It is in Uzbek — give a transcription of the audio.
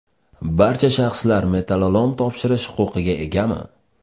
Barcha shaxslar metallolom topshirish huquqiga egami?